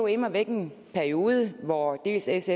immer væk en periode hvor sfs